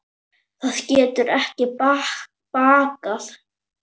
Það getur ekki bakkað.